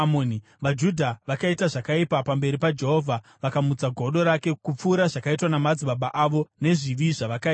VaJudha vakaita zvakaipa pamberi paJehovha. Vakamutsa godo rake, kupfuura zvakaitwa namadzibaba avo, nezvivi zvavakaita.